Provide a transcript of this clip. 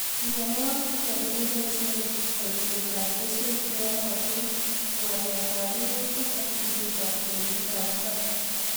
Mionwoikichuton kebosen boisietab keswek cheyonotin, walawaletab minutik ak ripetab tilililindab mbar.